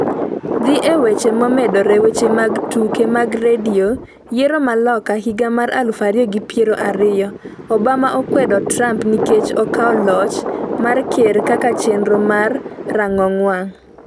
Dhi e weche momedore Weche mag Tuke mag Radio Yiero ma Loka higa mar aluf ariyo gi piero ariyo : Obama okwedo Trump nikech okawo loch mar ker kaka chenro mar rang'ong wang'